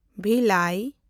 ᱵᱷᱤᱞᱟᱭ